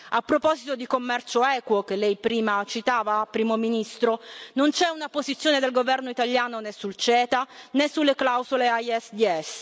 A proposito di commercio equo, che lei prima citava, Primo ministro, non c'è una posizione del Governo italiano né sul CETA né sulle clausole ISDS.